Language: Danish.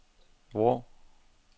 Vrå